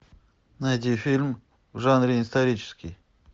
найди фильм в жанре исторический